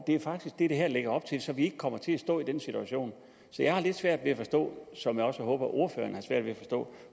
er faktisk det det her lægger op til så vi ikke kommer til at stå i den situation så jeg har lidt svært ved at forstå som jeg også håber ordføreren har svært ved at forstå